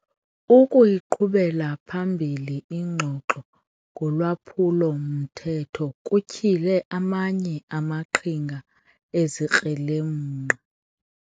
Ukuyiqhubela phambili ingxoxo ngolwaphulo-mthetho kutyhile amanye amaqhinga ezikrelemnqa.